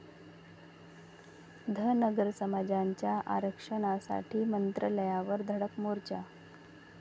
धनगर समाजाचा आरक्षणासाठी मंत्रालयावर धडक मोर्चा